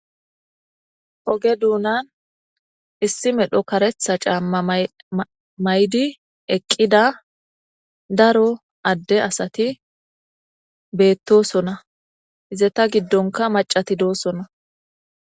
Ogee dunani issi medhdho kareththa cama mayiddi eqqidda daro adee asati betosonna izetta giddonikka maca asati betosonna .